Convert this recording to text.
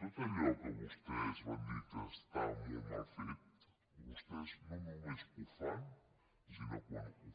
tot allò que vostès van dir que estava molt mal fet vostès no només ho fan sinó que quan ho